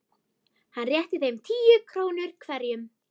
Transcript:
Hann rétti þeim tíu krónur hverjum.